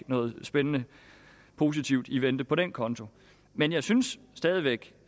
noget spændende positivt i vente på den konto men jeg synes